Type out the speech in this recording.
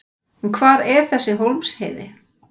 En hvar er þessi Hólmsheiði?